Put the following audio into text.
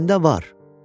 Məndə var.